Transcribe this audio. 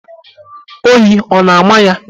Oyi ọ na-ámà ya?